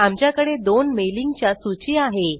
आमच्याकडे दोन मेलिंग च्या सूची आहे